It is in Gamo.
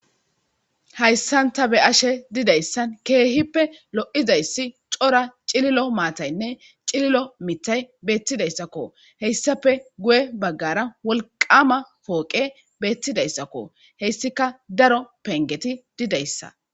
hayssanta be ashe didayssan keehippe lo7izayssi cora cililo maataynne cililo mitay beettidayssakko heyssafe guye baggara wolqama pooqe beettidayssakko heyssika daro pengeti didayssa